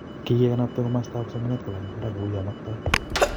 Kikekalbta komastab somanet kolany barak kouyo maktoi